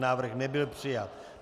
Návrh nebyl přijat.